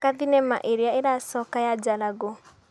Thaka thinema ĩrĩa ĩracoka ya Jalagũ.